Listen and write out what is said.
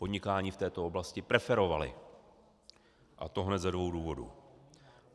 Podnikání v této oblasti preferovali, a to hned ze dvou důvodů.